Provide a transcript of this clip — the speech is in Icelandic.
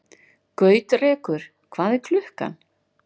Gautrekur, hvað er klukkan?